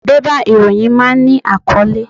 Bébà ìròyìn máa ń ní àkọ́lé.